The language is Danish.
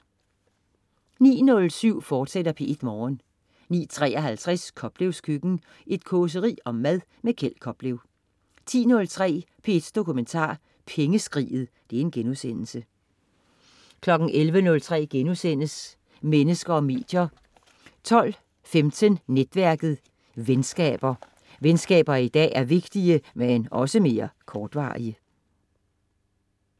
09.07 P1 Morgen, fortsat* 09.53 Koplevs Køkken. Et causeri om mad. Kjeld Koplev 10.03 P1 Dokumentar: Pengeskriget* 11.03 Mennesker og medier* 12.15 Netværket. Venskaber. Venskaber i dag er vigtige, men også mere kortvarige